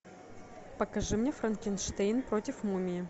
покажи мне франкенштейн против мумии